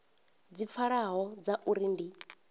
dzi pfalaho dza uri ndi